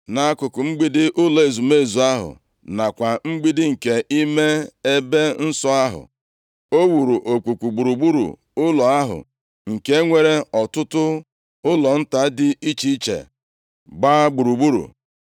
Nʼakụkụ mgbidi ụlọ ezumezu ahụ nakwa mgbidi nke ime ebe nsọ ahụ, o wuru okpukpu gburugburu ụlọ ahụ, nke nwere ọtụtụ ụlọ nta dị iche iche gbaa gburugburu.